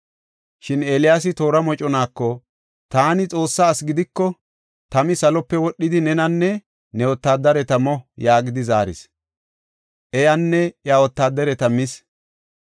Shin Eeliyaasi toora moconaako, “Taani Xoossaa asi gidiko, tami salope wodhidi, nenanne ne wotaadareta mo” yaagidi zaaris. Tami salope wodhidi, iyanne iya wotaadareta mis.